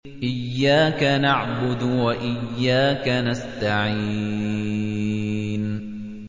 إِيَّاكَ نَعْبُدُ وَإِيَّاكَ نَسْتَعِينُ